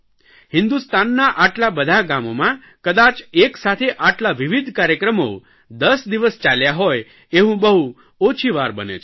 હિન્દુસ્તાનના આટલાં બધાં ગામોમાં કદાચ એક સાથે આટલા વિવિધ કાર્યક્રમો 10 દિવસ ચાલ્યા હોય એવું બહુ ઓછી વાર બને છે